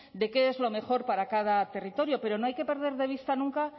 de qué es lo mejor para cada territorio pero no hay que perder de vista nunca